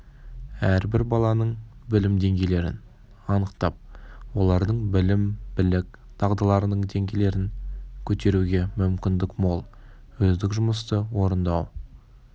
әрбір баланың білім деңгейлерін анықтап олардың білім білік дағдыларының деңгейлерін көтеруге мүмкіндік мол өздік жұмысты орындау